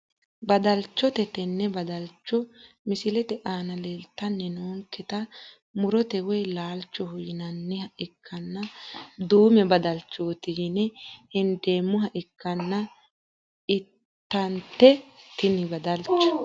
Badalchcho tene badalcho misilete aana leeltani noonketa murote woyi laalchoho yinaniha ikanna duume badalchooti yine hendeemoha ikkana intanite tini badalcho.